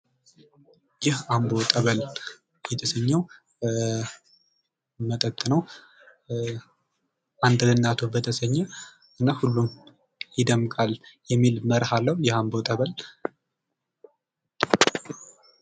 ይህ አምቦ ጠበል የተሰኘው መጠጥ ነው ። አንድ ለእናቱ በተሰኘ እና ሁሉም ይደምቃል የሚል መርህ አለው የአምቦ ጠበል ።